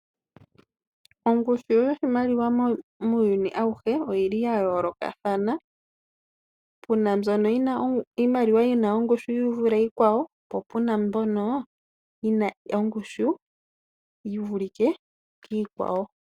Ongushu yoshimaliwa muuyuni auhe oyi li ya yoolokathana, puna mbyono iimaliwa yi na ongushu yi vule iikwawo, po pu na mbyono yi na ongushu yi vulike kiikwawo.